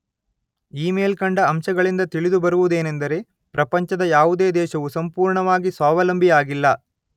ಈ ಮೇಲ್ಕಂಡ ಅಂಶಗಳಿಂದ ತಿಳಿದು ಬರುವುದೇನೆಂದರೆ ಪ್ರಪಂಚದ ಯಾವುದೇ ದೇಶವು ಸಂಪೂರ್ಣವಾಗಿ ಸ್ವಾವಲಂಬಿಯಾಗಿಲ್ಲ.